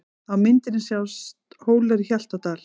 Á myndinni sjást Hólar í Hjaltadal.